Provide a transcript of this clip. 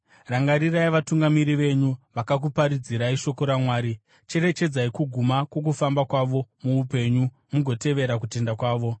Rangarirai vatungamiri venyu vakakuparidzirai shoko raMwari. Cherechedzai kuguma kwokufamba kwavo muupenyu mugotevera kutenda kwavo.